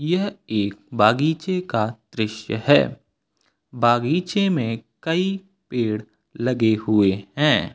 यह एक बागीचे का दृश्य है बागीचे में कई पेड़ लगे हुए हैं।